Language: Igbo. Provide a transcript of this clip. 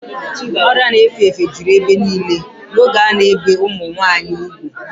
Ọrịa na-efe efe juru ebe niile n'oge a na-ebi ụmụ nwanyị ugwu.